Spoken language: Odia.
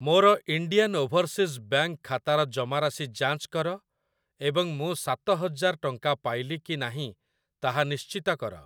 ମୋର ଇଣ୍ଡିଆନ୍ ଓଭରସିଜ୍ ବ୍ୟାଙ୍କ୍‌ ଖାତାର ଜମାରାଶି ଯାଞ୍ଚ କର ଏବଂ ମୁଁ ସାତ ହଜାର ଟଙ୍କା ପାଇଲି କି ନାହିଁ ତାହା ନିଶ୍ଚିତ କର ।